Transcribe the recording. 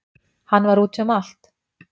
Hann var úti um allt